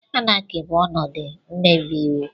Anarchy bụ ọnọdụ mmebi iwu.